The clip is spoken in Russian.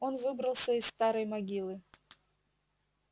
он выбрался из старой могилы